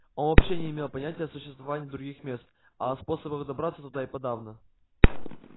он вообще не имел понятия о существовании других мест а о способах добраться туда и подавно